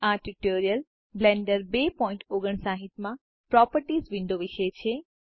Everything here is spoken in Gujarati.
આ ટ્યુટોરીયલ બ્લેન્ડર 259 માં પ્રોપર્ટીઝ વિન્ડો વિશે છે